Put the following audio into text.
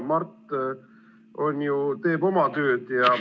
Mart teeb ju oma tööd.